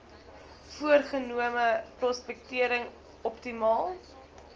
voorgenome prospektering optimaal